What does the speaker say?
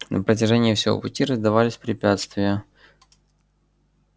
на протяжении всего пути раздавались препятствия